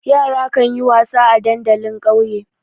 Yara kan yi wasa a dandali a ƙauye.